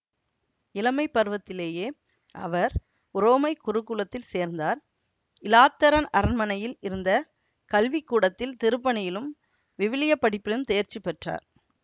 இளமை பருவத்திலேயே அவர் உரோமைக் குருகுலத்தில் சேர்ந்தார் இலாத்தரன் அரண்மனையில் இருந்த கல்விக்கூடத்தில் திருப்பணியிலும் விவிலிய படிப்பிலும் தேர்ச்சி பெற்றார்